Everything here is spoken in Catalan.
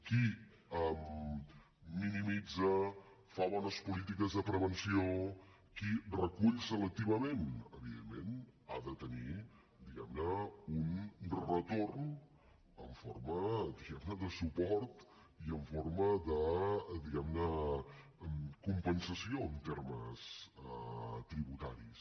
qui minimitza fa bones polítiques de prevenció qui recull selectivament evidentment ha de tenir diguem ne un retorn en forma de suport i en forma de compensació en termes tributaris